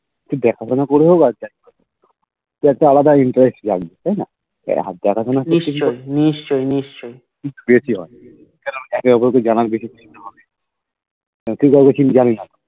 দেখাশোনা করে হয় আর যাই হোক একটা আলাদা একটা Interest লাগবে তাইনা একে অপরকে জানার কিছু একটা থাকতে হবে